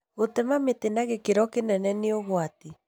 Gũtema mĩtĩ na gĩkĩro kĩnene nĩ ũgwati